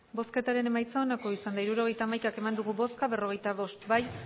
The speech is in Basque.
hirurogeita hamaika eman dugu bozka berrogeita bost bai